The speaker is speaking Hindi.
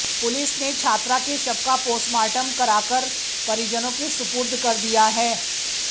पुलिस ने छात्रा के शव का पोस्टमार्टम कराकर परिजनों के सुपुर्द कर दिया है